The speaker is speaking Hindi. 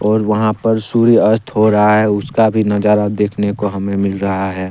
और वहां पर सूर्यास्त हो रहा है उसका भी नजारा देखने को हमें मिल रहा है।